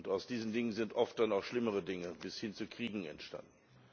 Aus diesen Dingen sind oft dann auch schlimmere Dinge bis hin zu Kriegen entstanden.